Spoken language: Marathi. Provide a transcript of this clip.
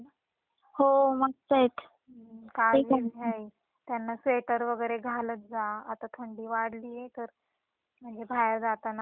काळजी घे त्यांना स्वेटर वैगरे घालत जा आता थंडी वाढलीये तर म्हणजे बाहेर जाताना कान वैगरे बांधत जा.